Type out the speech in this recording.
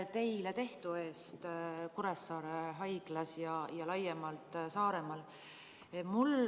Ja aitäh teile Kuressaare Haiglas ja laiemalt Saaremaal tehtu eest!